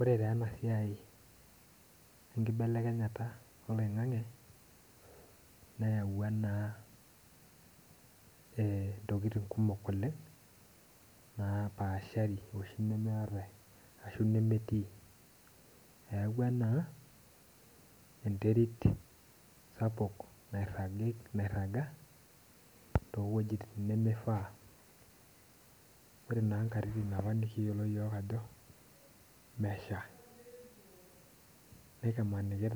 Ore taa ena siai enkibelekenyata oloingange nayaua ntokiting kumok oleng napaashari oleng oshi nemetii, eyaua naa enterit sapuk nairagita toowejitin nemeifaa, ore naa nkatitin apa nikiyiolo yiok ajo nesha nikimaniki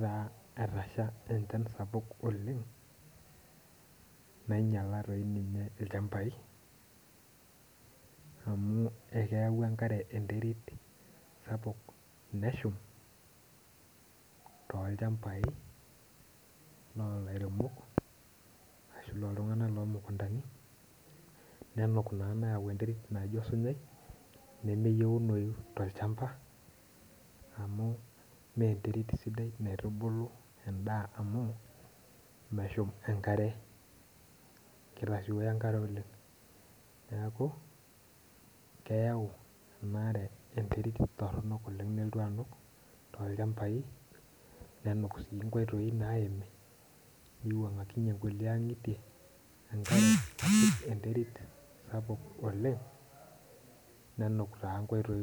etasha enchana sapuk oleng nainyal dei ninye lchampai amu keyau enkare enterit sapuk neshum toolchampai loolairemok ashu looltunganak loonchampai, nenuk naa neyau enterit naijo osinyai nemeyiunoyu tolchampa amu mee enterit sidai naitubulu olchampa amu ,neshum enkare kitasioyo enkare oleng .neeku kayau nanare enterit toronok nelotu anuk tolchampai nenuk sii nkoitoi naimi, nepik nkulie egitie enkare enterit sapuk oleng nenuk nkoitoi.